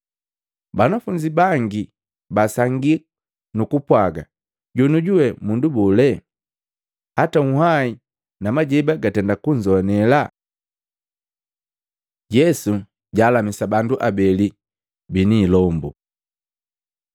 Banafunzi baki basangi nukupwaga, “Jonioju we mundu bole? Hata unhwai na majeba gatenda kunzoanela!” Yesu jaalamisa bandu abeli bini ilombu Maluko 5:1-20; Luka 8:26-39